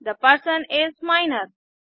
the person is minor